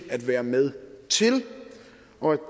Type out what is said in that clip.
at være med til og af